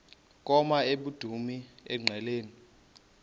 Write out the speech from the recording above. koma emdumbi engqeleni